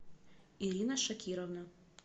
ирина шакировна